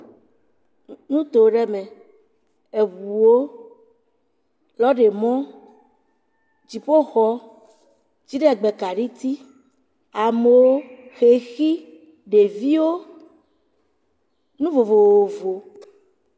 Nuto aɖe me, ŋuwo, lɔrimɔ, dziƒoxɔ, dziɖegbekaɖiti, amewo, xexi, ɖeviwo, nu vovovowo.